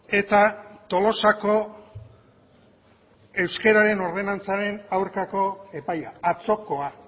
eta tolosako euskararen ordenantzaren aurkako epaia atzokoa